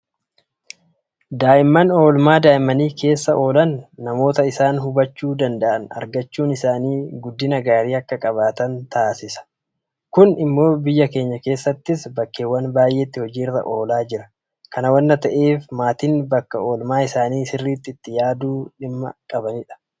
Daa'imman oolmaa daa'immanii keessa oolan namoota isaan hubachuu danda'an argachuun isaanii guddina gaarii akka qabaatan taasisa. Kun immoo biyya keenya keessattis bakkeewwan baay'eetti hojii irra oolaa jira. Kana waanta ta'eef maatiin bakka oolmaa isaanii sirriitti itti yaaduu dhimma qabanidha.